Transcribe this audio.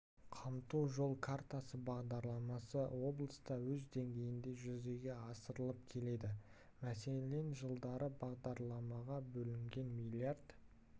қамту жол картасы бағдарламасы облыста өз деңгейінде жүзеге асырылып келеді мәселен жылдары бағдарламаға бөлінген млрд